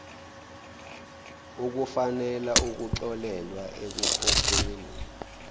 ukufanele ukuxolelwa ekukhokheni